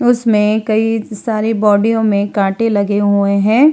उसमे कई सारे बॉडीयओं में काटें लगे हुएं हैं।